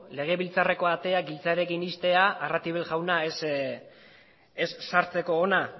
legebiltzarreko ateak giltxarekin ixtea arratibel jauna ez sartzeko hona